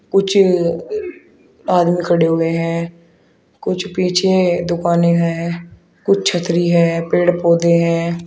कुछ अ आदमी खड़े हुए हैं कुछ पीछे दुकाने हैं कुछ छतरी है पेड़ पौधे हैं।